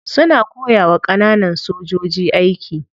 Suna koyawa kananan sojoji aiki.